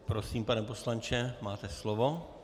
Prosím, pane poslanče, máte slovo.